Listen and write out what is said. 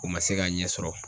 U ma se k'a ɲɛ sɔrɔ.